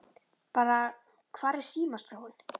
Bara Hvar er símaskráin?